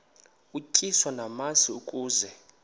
utyiswa namasi ukaze